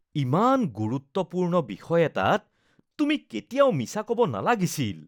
ইমান গুৰুত্বপূৰ্ণ বিষয় এটাত তুমি কেতিয়াও মিছা ক'ব নালাগিছিল।